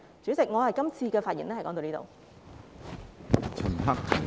主席，我這次發言到此為止。